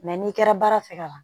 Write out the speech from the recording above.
Mɛ n'i kɛra baara fɛ ka ban